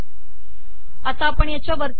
आता आपण याच्या वरती जाऊ